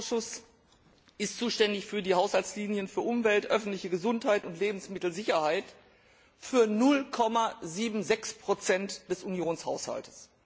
Der Umweltausschuss ist zuständig für die Haushaltslinien für Umwelt, öffentliche Gesundheit und Lebensmittelsicherheit, für 0,76 des Unionshaushalts.